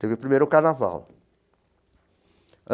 Teve o primeiro carnaval.